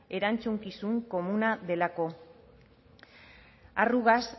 erantzukizun delako arrugas